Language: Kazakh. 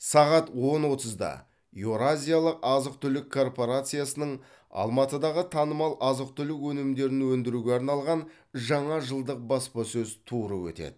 сағат он отызда еуразиялық азық түлік корпорациясының алматыдағы танымал азық түлік өнімдерін өндіруге арналған жаңа жылдық баспасөз туры өтеді